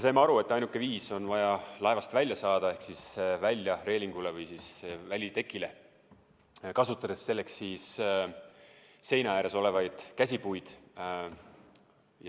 Saime aru, et ainuke viis pääseda on laevast välja ehk reelingule või välitekile saada, kasutades selleks seina ääres olevaid käsipuid.